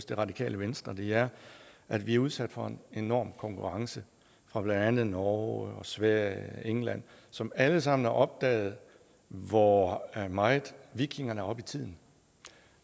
det radikale venstre er at vi er udsat for en enorm konkurrence fra blandt andet norge og sverige og england som alle sammen har opdaget hvor meget vikingerne er oppe i tiden